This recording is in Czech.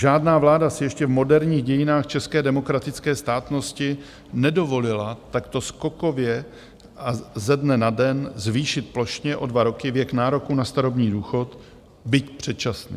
Žádná vláda si ještě v moderních dějinách české demokratické státnosti nedovolila takto skokově a ze dne na den zvýšit plošně o dva roky věk nároku na starobní důchod, byť předčasný.